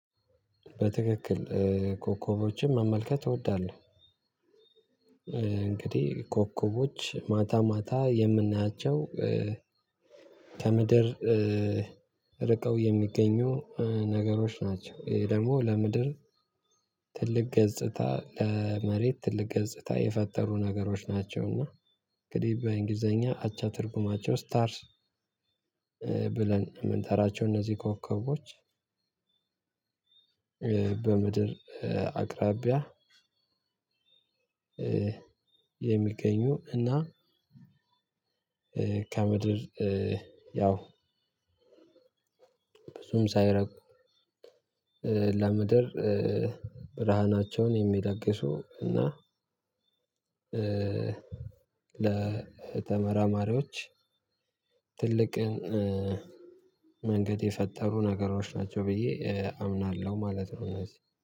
በትክክል ኮከቦችን መመልከት እወዳለሁ። እንግዲህ ኮከቦች ማታ ማታ የምናያቸው ከምድር ርቀው የሚገኙ ነገሮች ናቸው። ይሄ ደግሞ ለምድር ትልቅ ገጽታ ለመሬት ትልቅ ገጽታ የፈጠሩ ነገሮች ናቸውና። እንግዲህ በእንግሊዘኛ አቻ ትርጉማቸው ስታርስ ብለን የምንጠራቸው እነዚህ ኮከቦች። በምድር አቅራቢያ የሚገኙ እና ከምድር ያው ብዙም ሳይርቁ ለምድር ብርሃናቸውን የሚለግሱ እና ለተመራማሪዎች ትልቅን መንገድ የፈጠሩ ነገሮች ናቸው ብዬ አምናለሁ ማለት ነው። እነዚህ